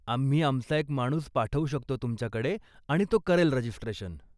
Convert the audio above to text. आम्ही आमचा एक माणूस पाठवू शकतो तुमच्याकडे आणि तो करेल रजिस्ट्रेशन.